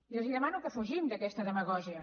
i els demano que fugim d’aquesta demagògia